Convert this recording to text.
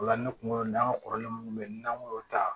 O la ne kunkolo dan kɔrɔlen mun be yen n'an m'o ta